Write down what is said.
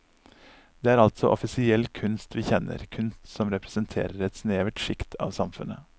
Det er altså offisiell kunst vi kjenner, kunst som representerer et snevert sjikt av samfunnet.